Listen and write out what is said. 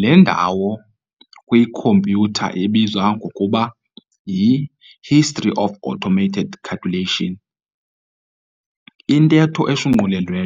Le ndawo kwi-compyutha ibizwa ngokuba y"i-history of automated calculation," intetho eshunqulelwe